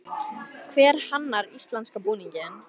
Hver hannar íslenska búninginn?